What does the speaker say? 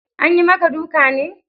Anyi maka duka ne?